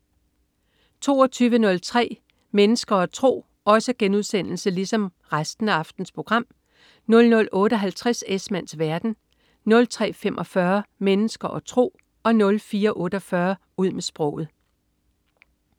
22.03 Mennesker og tro* 00.58 Esmanns verden* 03.45 Mennesker og tro* 04.48 Ud med sproget*